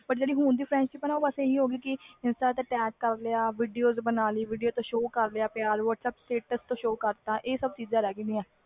ਹੁਣ ਦੀ ਜਿਹੜੀ friendship ਆ insta ਤੇ ਪਿਆਰ ਕਰ ਲਿਆ video ਬਣਾ ਲਈ ਤੋਂ whatsapp status ਪਿਆਰ show ਕਰ ਲਿਆ ਇਹ ਸਬ ਚੀਜ਼ਾਂ ਰਹਿ ਗਿਆ ਆ